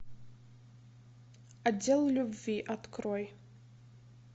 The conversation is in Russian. отдел любви открой